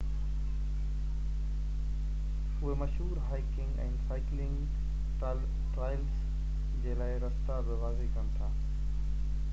اهي مشهور hiking ۽ cycling trails جي لاءِ رستا بہ واضع ڪن ٿا